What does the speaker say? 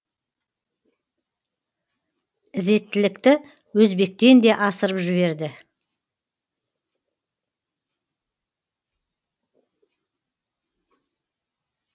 ізеттілікті өзбектен де асырып жіберді